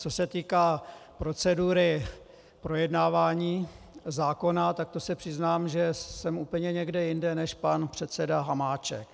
Co se týká procedury projednávání zákona, tak to se přiznám, že jsem úplně někde jinde než pan předseda Hamáček.